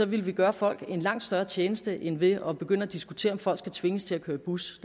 ville vi gøre folk en langt større tjeneste end ved at begynde at diskutere om folk skal tvinges til at køre i bus